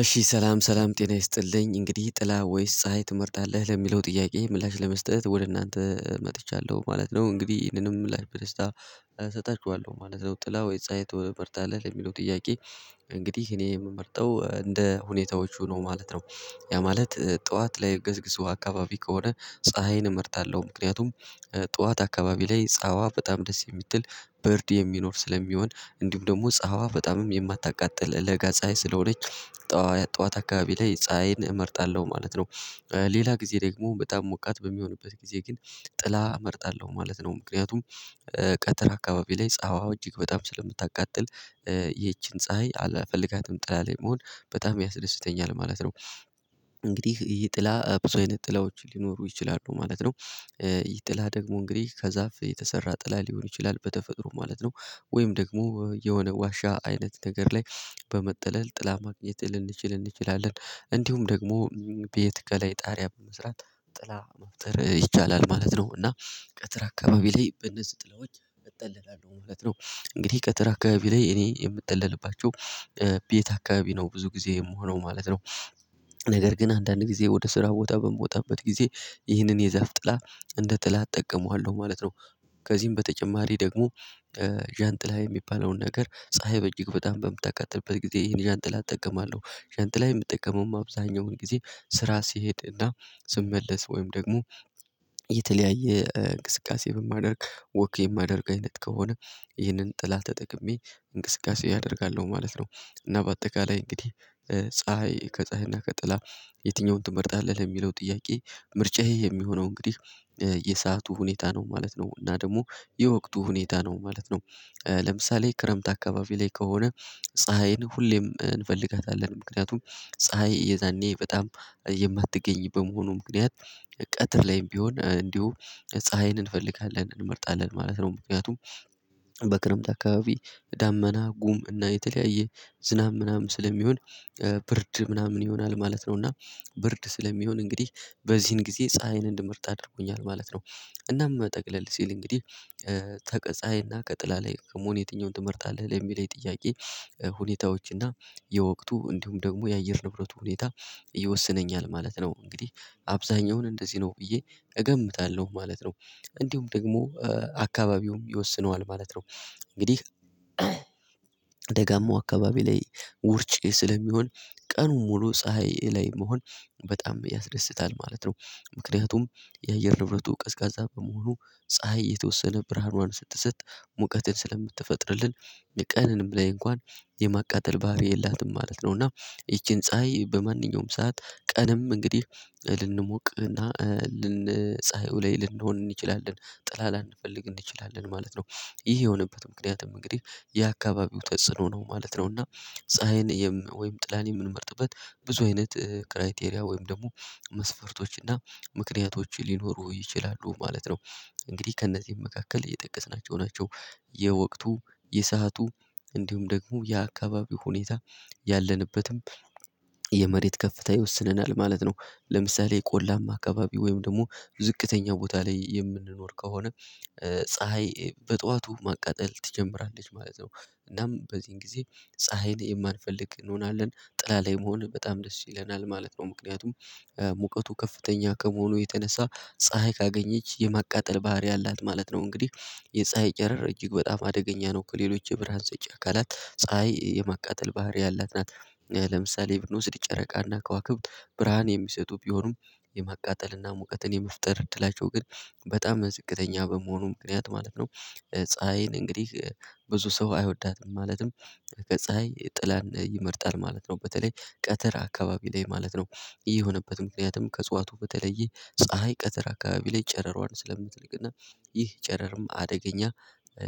እሺ ሰላም ሰላም ጤና ይስጥልኝ እንግዲህ ጥላ ወይስ ፀሀይ ትመርጣለህ ለሚለው ጥያቄ ምላሽ ለመስጠት ወደ እናንተ መጥቻለሁ ማለት ነው። እንግዲህ ይሄንንም ላይ ለበደስታ እሰጣችኋለሁ ማለት ነው። ጥላ ወይ ፀሀይ ትመርጣለህ ለሚለው ጥያቄ? እንግዲህ እኔ የምመርጠው እንደ ሁኔታዎቹ ነው ማለት ነው። ያ ማለት ጠዋት ላይ ገዝግዙ አካባቢ ከሆነ ፀሀይን እመርጣለሁ ምክንያቱም። ጠዋት አካባቢ ላይ ፀሀይዋ በጣም ደስ የምትል ብርድ የሚኖር ስለሚሆን እንዲሁም ደግሞ ፀሀዋ በጣምም የማታቃጥል ለጋ ፀሀይ ስለሆነች ጠዋት አካባቢ ላይ ፀሀይን እመርጣለሁ ማለት ነው። ሌላ ጊዜ ደግሞ በጣም ሞቃት በሚሆንበት ጊዜ ግን ጥላ እመርጣለሁ ማለት ነው። ምክንያቱም ቀትር አካባቢ ላይ ፀሀዋ እጅግ በጣም ስለምታቃጥል ይቺን ፀሀይ አላፈልጋትም ጥላ ላይ መሆን በጣም ያስደስተኛል ማለት ነው። እንግዲህ ይሄ ጥላ ብዙ አይነት ጥላዎች ሊኖሩ ይችላሉ ማለት ነው። ይሄ ጥላ ደግሞ እንግዲህ ከዛፍ የተሰራ ጥላ ሊሆን ይችላል በተፈጥሮ ማለት ነው። ወይም ደግሞ የሆነ ዋሻ አይነት ነገር ላይ በመጠለል ጥላ ማግኘት ልንችል እንችላለን። እንዲሁም ደግሞ ቤት ከላይ ጣሪያ በመስራት ጥላ መፍጠር ይቻላል ማለት ነው። እና ቀትር አካባቢ ላይ በነዚህ ጥላዎች እጠለላለሁ ማለት ነው። እንግዲህ ቀትር አካባቢ ላይ እኔ የምጠለልባቸው ቤት አካባቢ ነው ብዙ ጊዜ የምሆነው ማለት ነው። ነገር ግን አንዳንድ ጊዜ ወደ ስራ ቦታ በምወጣበት ጊዜ ይህንን የዛፍ ጥላ እንደ ጥላ እጠቀመዋለሁ ማለት ነው። ከዚህም በተጨማሪ ደግሞ ዣንጥላ የሚባለውን ነገር ፀሀይ በእጅግ በጣም በምታቃጥልበት ጊዜ ይሄን ዣንጥላ እጠቀማለሁ። ዣንጥላ የምጠቀመውም አብዛኛውን ጊዜ ስራ ሲሄድ እና ስመለስ ወይም ደግሞ የተለያየ እንቅስቃሴ በማደርግ ወክ የማደርግ አይነት ከሆነ ይህንን ጥላ ተጠቅሜ እንቅስቃሴ አደርጋለሁ ማለት ነው። እና በአጠቃላይ እንግዲህ ፀሀይ ከፀሀይና ከጥላ የትኛውን ትመርጣለህ ለሚለው ጥያቄ ምርጫዬ የሚሆነው እንግዲህ የሰዓቱ ሁኔታ ነው ማለት ነው። እና ደግሞ የወቅቱ ሁኔታ ነው ማለት ነው። ለምሳሌ ክረምት አካባቢ ላይ ከሆነ ፀሀይን ሁሌም እንፈልጋታለን ምክንያቱም ፀሀይ እየዛኔ በጣም የማትገኝ በመሆኑ ምክንያት ቀትር ላይም ቢሆን እንዲሁ ፀሀይን እንፈልጋለን እንመርጣለን ማለት ነው። ምክንያቱም በክረምት አካባቢ ዳመና ጉም እና የተለያየ ዝናብ ምናምን ስለሚሆን ብርድ ምናምን ይሆናል ማለት ነው። እና ብርድ ስለሚሆን እንግዲህ በዚህን ጊዜ ፀሀይን እንድመርጥ አድርጎኛል ማለት ነው። እናም ጠቅለል ሲል እንግዲህ ከቀፀሀይና ቀጥላ ላይ ከመሆን የትኛውን ትመርጣለህ ለሚለይ ጥያቄ ሁኔታዎችና የወቅቱ እንዲሁም ደግሞ የአየር ንብረት ሁኔታ ይወስነኛል ማለት ነው። እንግዲህ አብዛኛውን እንደዚህ ነው ብዬ እገምታለሁ ማለት ነው። እንዲሁም ደግሞ አካባቢውም ይወስነዋል ማለት ነው። እንግዲህ ደጋማው አካባቢ ላይ ውርጭ ስለሚሆን ቀኑን ሙሉ ፀሀይ ላይ መሆን በጣም ያስደስታል ማለት ነው። ምክንያቱም የአየር ንብረቱ ቀዝቃዛ በመሆኑ ፀሀይ የተወሰነ ብርሃኗን ስትሰጥ ሙቀትን ስለምትፈጥርልን የቀንንም ላይ እንኳን የማቃጠል ባህሪ የላትም ማለት ነው። እና ይቺን ፀሀይ በማንኛውም ሰዓት ቀንም እንግዲህ ልንሞቅህና ልንፀሀዩ ላይ ልንሆን እንችላለን ጥላ ላንፈልግ እንችላለን ማለት ነው። ይህ የሆነበት ምክንያቱም እንግዲህ የአካባቢው ተጽዕኖ ነው ማለት ነው። እና ፀሀይን ወይም ጥላን የምንመርጥበት ብዙ አይነት ክራይቴሪያ ወይም ደግሞ መስፈርቶች እና ምክንያቶች ሊኖሩ ይችላሉ ማለት ነው። እንግዲህ ከእነዚህ መካከል እየጠቀስናቸው ናቸው። የወቅቱ የሰአቱ እንዲሁም ደግሞ የአካባቢው ሁኔታ ያለንበትም የመሬት ከፍታ ይወስነናል ማለት ነው። ለምሳሌ ቆላማ አካባቢ ወይም ደግሞ ዝቅተኛ ቦታ ላይ የምንኖር ከሆነ ፀሀይ በጧቱ ማቃጠል ትጀምራለች ማለት ነው። እናም በዚህን ጊዜ ፀሀይን የማንፈልግ እንሆናለን ጥላ ላይ መሆን በጣም ደስ ይለናል ማለት ነው። ምክንያቱም ሙቀቱ ከፍተኛ ከመሆኑ የተነሳ ፀሀይ ካገኘች የማቃጠል ባህሪ አላት ማለት ነው። እንግዲህ የፀሀይ ጨረር እጅግ በጣም አደገኛ ነው ከሌሎች የብርሃን ሰጪ አካላት ፀሀይ የማቃጠል ባህሪ ያላት ናት። ለምሳሌ ብንወስድ ጨረቃና ከዋክብት ብርሃን የሚሰጡ ቢሆኑም የማቃጠልና ሙቀትን የመፍጠር እድላቸው ግን በጣም ዝቅተኛ በመሆኑ ምክንያት ማለት ነው። ፀሀይን እንግዲህ ብዙ ሰው አይወዳትም ማለትም ከፀሀይ ጥላን ይመርጣል ማለት ነው። በተለይ ቀትር አካባቢ ላይ ማለት ነው። ይሄ የሆነበት ምክንያትም ከፅዋቱ በተለየ ፀሀይ ቀትር አካባቢ ላይ ጨረሯን ስለምትልክና ይህ ጨረርም አደገኛ